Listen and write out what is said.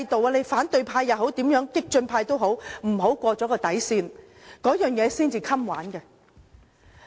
無論是反對派或激進派，不要越過底線，這樣才可持續下去。